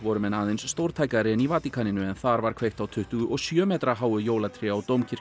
menn aðeins stórtækari en í Vatíkaninu en þar var kveikt á tuttugu og sjö metra háu jólatré á